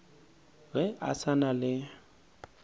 ge a sa na le